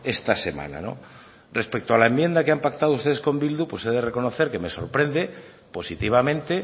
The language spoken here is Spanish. esta semana no respecto a la enmienda que han pactado ustedes con bildu pues he de reconocer que me sorprende positivamente